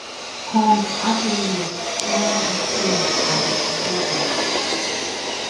combs attorney slam di claims as "bogus".